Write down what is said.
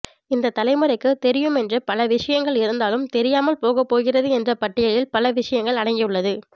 இந்தத் தலைமுறைக்கு தெரியும் என்று பல விஷயங்கள் இருந்தாலும் தெரியாமல் போகப் போகிறது என்ற பட்டியலில் பல விஷயங்கள் அடங்கியுள்ளது